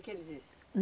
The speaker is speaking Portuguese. O que ele disse?